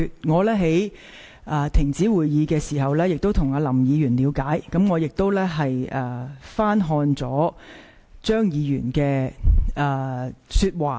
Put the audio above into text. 在會議暫停期間，我曾向林議員了解，亦翻聽了張議員的發言錄音。